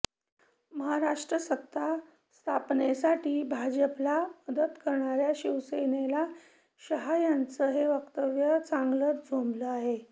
महाराष्ट्रात सत्ता स्थापनेसाठी भाजपला मदत करणाऱ्या शिवसेनेला शहा यांचं हे वक्तव्य चांगलंच झोंबलं आहे